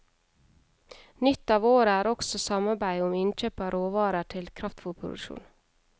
Nytt av året er også samarbeid om innkjøp av råvarer til kraftfôrproduksjon.